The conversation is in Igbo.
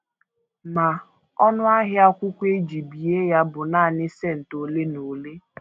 Ma, ọnụ ahịa akwụkwọ e ji bie ya bụ nanị cent ole na ole.